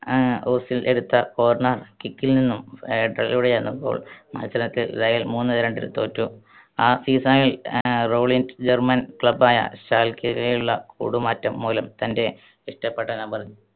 ആഹ് Ozil എടുത്ത corner kick ൽ നിന്നും ആഹ് header ലൂടെയായിരുന്നു goal. മത്സരത്തിൽ റയൽ മൂന്ന് രണ്ടിന് തോറ്റു. ആ season ൽ ആഹ് റൗലിൻഡ് German club യ ഷാൽക്കെയിലേക്കുള്ള കൂടുമാറ്റം മൂലം തൻ്റെ ഇഷ്ട്ടപെട്ട number